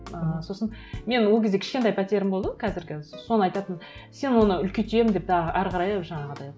ыыы сосын менің ол кезде кішкентай пәтерім болды қазіргі соны айтатын сен оны үлкейтемін деп да әрі қарай жаңағыдай